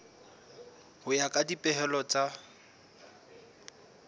ho ya ka dipehelo tsa